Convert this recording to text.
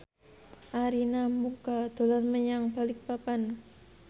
Arina Mocca dolan menyang Balikpapan